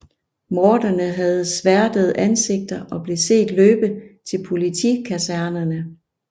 Morderne havde sværtede ansigter og blev set løbe til politikasernerne